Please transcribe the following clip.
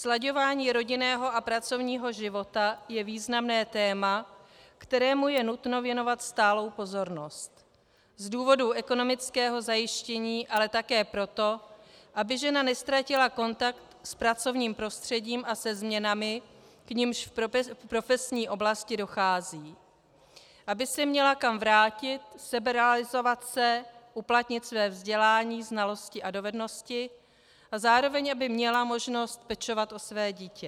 Slaďování rodinného a pracovního života je významné téma, kterému je nutno věnovat stálou pozornost z důvodu ekonomického zajištění, ale také proto, aby žena neztratila kontakt s pracovním prostředím a se změnami, k nimž v profesní oblasti dochází, aby se měla kam vrátit, seberealizovat se, uplatnit své vzdělání, znalosti a dovednosti a zároveň aby měla možnost pečovat o své dítě.